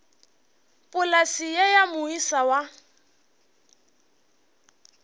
polase ye ya moisa wa